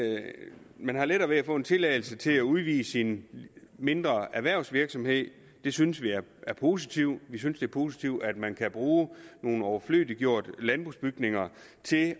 man har lettere ved at få en tilladelse til at udvide sin mindre erhvervsvirksomhed det synes vi er positivt vi synes det er positivt at man kan bruge nogle overflødiggjorte landbrugsbygninger til